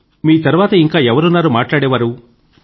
మీ తర్వాత ఇంకా ఎవరున్నారు మాట్లాడేవారు